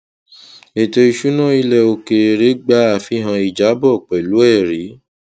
ètò ìṣúná ilẹ òkèèrè gba àfihàn ìjábọ pẹlú ẹrí